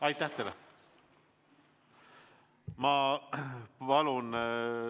Aitäh teile!